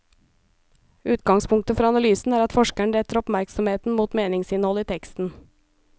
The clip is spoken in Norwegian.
Utgangspunktet for analysen er at forskeren retter oppmerksomheten mot meningsinnholdet i teksten.